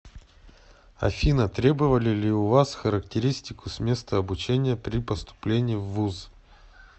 афина требовали ли у вас характеристику с места обучения при поступлении в вуз